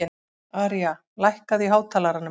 Aría, lækkaðu í hátalaranum.